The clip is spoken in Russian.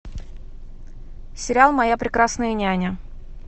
сериал моя прекрасная няня